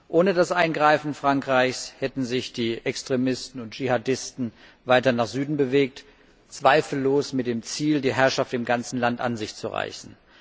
Ohne das Eingreifen Frankreichs hätten sich die Extremisten und Dschihadisten weiter nach Süden bewegt, zweifellos mit dem Ziel, die Herrschaft im ganzen Land an sich zu reißen.